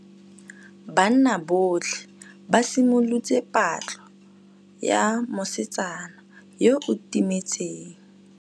Banna botlhê ba simolotse patlô ya mosetsana yo o timetseng.